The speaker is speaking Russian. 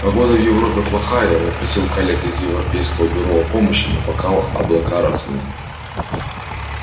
погода в европе плохая я попросил коллег из европейского бюро о помощи но пока облака разгонят